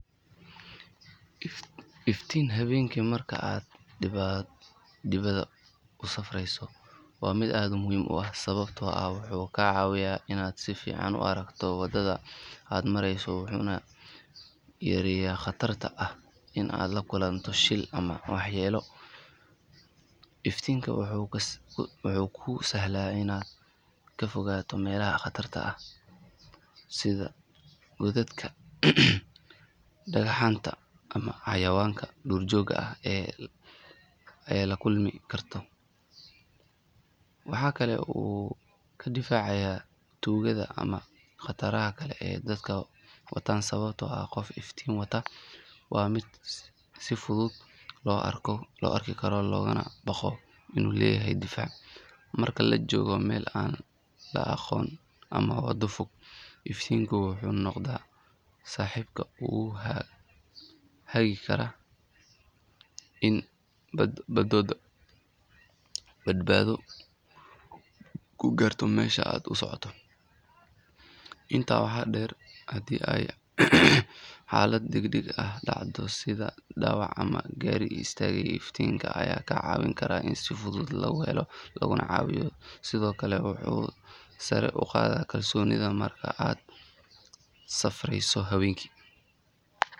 Iftiin habeenkii marka aad dibadda u safrayso waa mid aad muhiim u ah sababtoo ah wuxuu kaa caawinayaa inaad si fiican u aragto waddada aad marayso wuxuuna yareeyaa khatarta ah in aad la kulanto shil ama waxyeelo. Iftinka wuxuu kuu sahlaa inaad ka fogaato meelaha khatarta ah sida godadka, dhagaxaanta ama xayawaanka duurjoogta ah ee la kulmi kara. Waxaa kale oo uu kaa difaacayaa tuugada ama khataraha kale ee dadku wataan sababtoo ah qof iftiin wata waa mid si fudud loo arki karo loogana baqo inuu leeyahay difaac. Marka la joogo meel aan la aqoon ama waddo fog, iftiinku wuxuu noqdaa saaxiibka kugu hagi kara inaad badbaado ku gaarto meesha aad u socoto. Intaa waxaa dheer, haddii ay xaalad degdeg ah dhacdo sida dhaawac ama gaari istaagay, iftiinka ayaa kaa caawin kara in si fudud lagu helo laguna caawiyo. Sidoo kale wuxuu sare u qaadaa kalsoonidaada marka aad safreyso habeenkii.